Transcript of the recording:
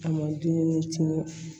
A ma dumuni tiɲɛ